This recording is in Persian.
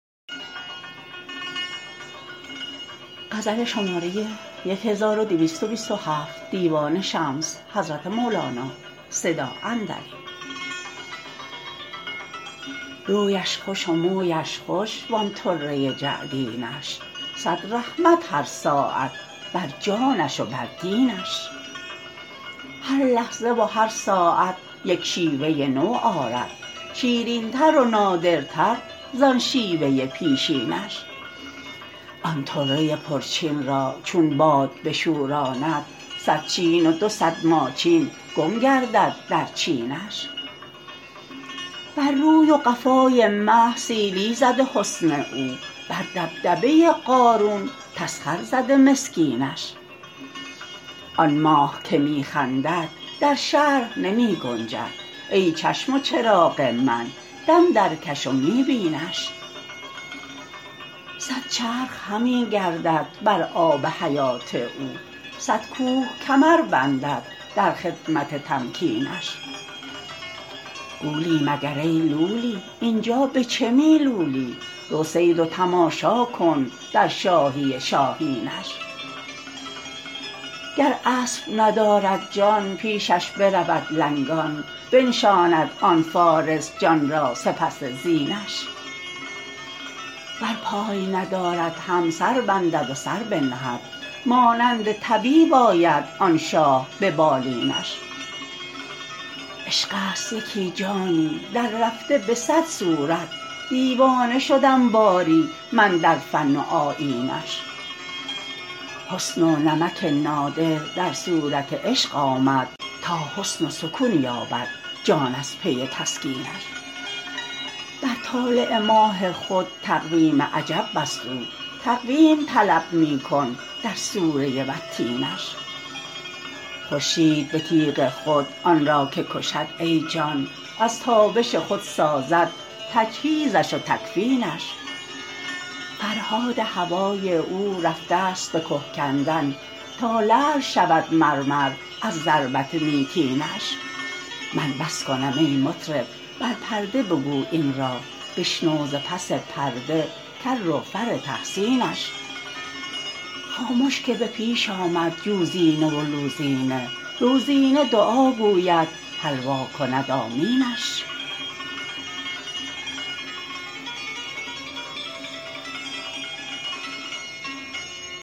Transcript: رویش خوش و مویش خوش و آن طره جعد ینش صد رحمت هر ساعت بر جانش و بر دینش هر لحظه و هر ساعت یک شیوه نو آرد شیرین تر و نادر تر ز آن شیوه پیشینش آن طره پرچین را چون باد بشوراند صد چین و دو صد ماچین گم گردد در چینش بر روی و قفا ی مه سیلی زده حسن او بر دبدبه قارون تسخر زده مسکین ش آن ماه که می خندد در شرح نمی گنجد ای چشم و چراغ من دم درکش و می بینش صد چرخ همی گردد بر آب حیات او صد کوه کمر بندد در خدمت تمکین ش گولی مگر ای لولی این جا به چه می لولی رو صید و تماشا کن در شاهی شاهین ش گر اسب ندارد جان پیشش برود لنگان بنشاند آن فارس جان را سپس زینش ور پای ندارد هم سر بندد و سر بنهد مانند طبیب آید آن شاه به بالین ش عشق ست یکی جانی دررفته به صد صورت دیوانه شدم باری من در فن و آیین ش حسن و نمک نادر در صورت عشق آمد تا حسن و سکون یابد جان از پی تسکین ش بر طالع ماه خود تقویم عجب بست او تقویم طلب می کن در سوره والتین ش خورشید به تیغ خود آن را که کشد ای جان از تابش خود سازد تجهیز ش و تکفین ش فرهاد هوای او رفته ست به که کندن تا لعل شود مرمر از ضربت میتین ش من بس کنم ای مطرب بر پرده بگو این را بشنو ز پس پرده کر و فر تحسین ش خامش که به پیش آمد جوزینه و لوزینه لوزینه دعا گوید حلوا کند آمین ش